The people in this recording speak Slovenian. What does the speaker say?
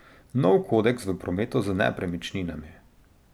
Nov kodeks v prometu z nepremičninami.